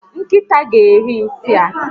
Nkịta ga eri nsị a